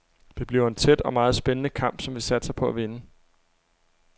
Det bliver en tæt og meget spændende kamp, som vi satser på at vinde.